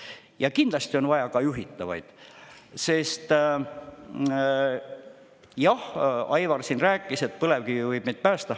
Ja kindlasti on vaja ka juhitavaid, sest jah, Aivar siin rääkis, et põlevkivi võib meid päästa.